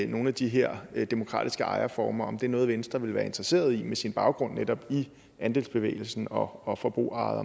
nogle af de her demokratiske ejerformer om det er noget venstre vil være interesseret i med sin baggrund netop i andelsbevægelsen og og forbrugerejede